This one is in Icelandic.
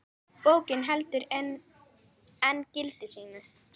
Bókin heldur enn gildi sínu.